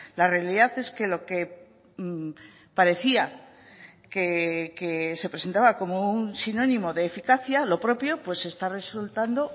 la realidad es que lo que parecía que se presentaba como un sinónimo de eficacia lo propio está resultando